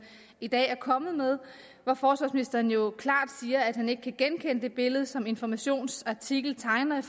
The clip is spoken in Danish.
i dag er kommet med hvor forsvarsministeren jo klart siger at han ikke kan genkende det billede som informations artikel tegner